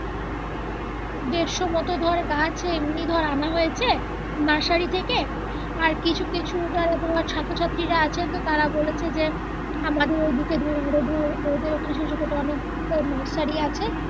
দেড়শো মতো ধর গাছ এমনি ধর আনা হয়েছে নার্সারি থেকে আর কিছু কিছু চারা ধর ছাত্র ছাত্রীরা আছেন ধর তারা বলছে যে আমাদের ওইদিকে ধর আরো ধর ওদের ওইখানে অনেক নার্সারি আছে